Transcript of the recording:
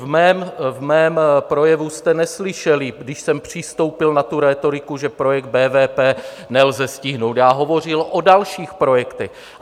V mém projevu jste neslyšeli, když jsem přistoupil na tu rétoriku, že projekt BVP nelze stihnout, já hovořil o dalších projektech.